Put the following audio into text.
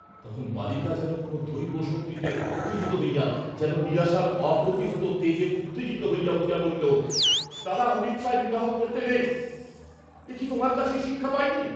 তখন বালিকা যেন কোন দৈব শক্তিতে উত্তেজিত হইয়া, যেন নিরাশার অপ্রতিহত তেজে উত্তেজিত হইয়া বলিল, দাদা অনিচ্ছায় বিবাহ করতে নেই, একি তোমার কাছেই শিক্ষা পাই নি!